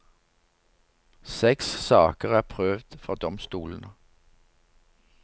Seks saker er prøvd for domstolene.